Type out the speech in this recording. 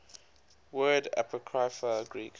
word apocrypha greek